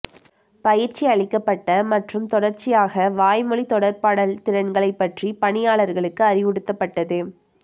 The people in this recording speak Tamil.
பயிற்சியளிக்கப்பட்ட மற்றும் தொடர்ச்சியாக வாய்மொழி தொடர்பாடல் திறன்களைப் பற்றி பணியாளர்களுக்கு அறிவுறுத்தப்பட்டது